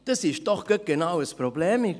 Dies ist doch gerade genau ein Problem.